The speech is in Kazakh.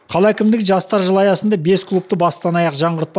қала әкімдігі жастар жылы аясында бес клубты бастан аяқ жаңғыртпа